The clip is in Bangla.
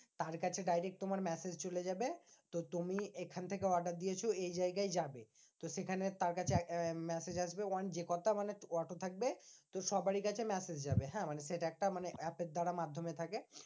তার কাছে direct তোমার message চলে যাবে। তো তুমি এখান থেকে order দিয়েছো এই জায়গায় যাবে। তো সেখানে তার কাছে message আসবে মানে অটো থাকবে সবারই কাছে message যাবে হ্যাঁ? মানে সেটা একটা মানে app এর দ্বারা মাধ্যমে থাকে।